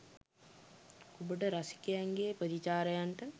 ඔබට රසිකයන්ගේ ප්‍රතිචාරයන්ට